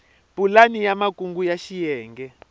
pulani ya makungu ya xiyenge